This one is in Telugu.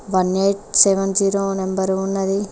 One eight seven zero number ఉన్నది.